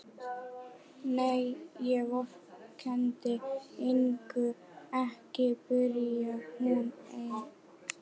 Nei, ég vorkenndi Ingu ekki, byrjar hún enn.